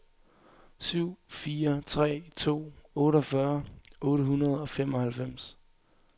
syv fire tre to otteogfyrre otte hundrede og femoghalvfems